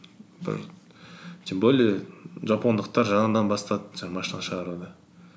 тем более жапондықтар жаңадан бастады жаңағы машина шығаруды